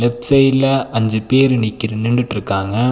Left சைடுல அஞ்சு பேர் நிக்கிற் நின்டுட்டு இருக்காங்க.